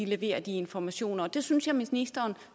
leverer de informationer og det synes jeg ministeren